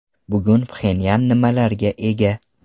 Bugun Pxenyan nimalarga ega?